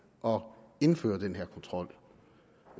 og indføre den her kontrol